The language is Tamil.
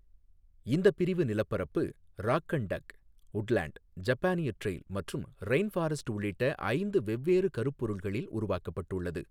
இந்த பிரிவு நிலப்பரப்பு, ராக் அண்ட் டக், உட்லண்ட், ஜப்பானிய டிரெயில் மற்றும் ரெயின் ஃபாரஸ்ட் உள்ளிட்ட ஐந்து வெவ்வேறு கருப்பொருள்களில் உருவாக்கப்பட்டுள்ளது.